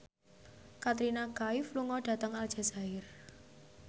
Katrina Kaif lunga dhateng Aljazair